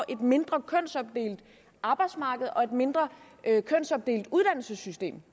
et mindre kønsopdelt arbejdsmarked og et mindre kønsopdelt uddannelsessystem